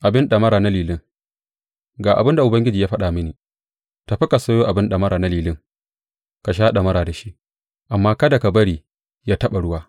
Abin ɗamara na lilin Ga abin da Ubangiji ya faɗa mini, Tafi ka sayo abin ɗamara na lilin ka sha ɗamara da shi, amma kada ka bari yă taɓa ruwa.